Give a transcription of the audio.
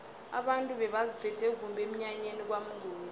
abantu bebaziphethe kumbi emnyanyeni kwamnguni